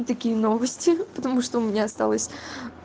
такие новости потому что у меня осталось